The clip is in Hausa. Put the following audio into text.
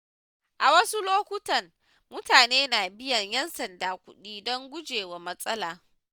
A wasu lokutan mutane na biyan ƴan sanda kuɗi don gujewa matsala.